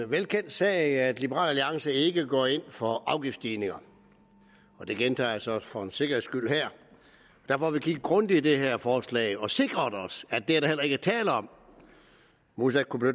velkendt sag at liberal alliance ikke går ind for afgiftsstigninger og det gentager jeg så for en sikkerheds skyld her derfor har vi kigget grundigt i det her forslag og sikret os at det er der heller ikke tale om modsat kunne